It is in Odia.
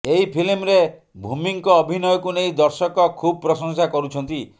ଏହି ଫିଲ୍ମରେ ଭୂମିଙ୍କ ଅଭିନୟକୁ ନେଇ ଦର୍ଶକ ଖୁବ୍ ପ୍ରଶଂସା କରୁଛନ୍ତି